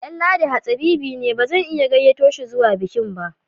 Danladi hatsabibi ne bazan iya gayyato shi zuwa bikin ba